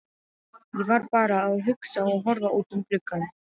Ég var bara að hugsa og horfa út um gluggann.